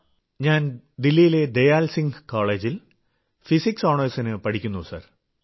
ഞാൻ ദില്ലിയിലെ ദയാൽ സിംഗ് കോളജിൽ ഫിസിക്സ് ഓണേഴ്സിനു പഠിക്കുന്നു സർ